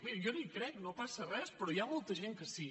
miri jo no hi crec no passa res però hi ha molta gent que sí